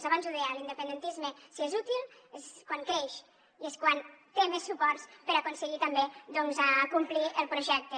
abans ho deia l’independentisme si és útil és quan creix i és quan té més suports per aconseguir també doncs acomplir el projecte